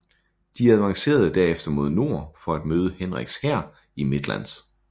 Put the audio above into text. De avancerede derefter mod nord for at møde Henriks hær i Midlands